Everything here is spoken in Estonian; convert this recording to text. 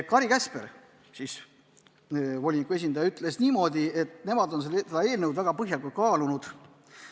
Kari Käsper, voliniku esindaja, ütles, et nemad on seda eelnõu väga põhjalikult arutanud.